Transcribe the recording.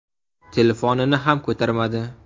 Telefonini ham ko‘tarmadi.